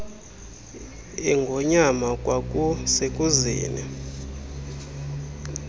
engonyama kwaku sekuzeni